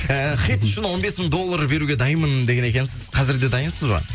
ііі хит үшін он бес мың доллар беруге дайынмын деген екенсіз қазір де дайынсыз ба